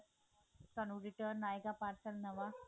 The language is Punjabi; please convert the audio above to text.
ਤੁਹਾਨੂੰ return ਆਇਗਾ parcel ਨਵਾਂ